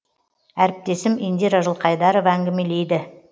әріптесім индира жылқайдарова әңгімелейді